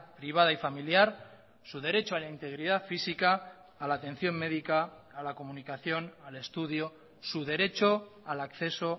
privada y familiar su derecho a la integridad física a la atención médica a la comunicación al estudio su derecho al acceso